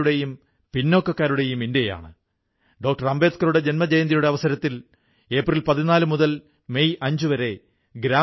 lockdown സമയത്തും ഈ digital platform വഴിയായി കർഷകർക്ക് പരുത്തിയുടെയും പച്ചക്കറിയുടെയും വിത്തുകളുടെ ആയിരക്കണക്കിനു പായ്ക്കറ്റുകൾ വിതരണം ചെയ്യപ്പെട്ടു